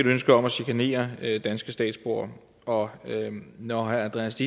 ønske om at chikanere danske statsborgere og når herre andreas